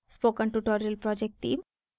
spoken tutorial project team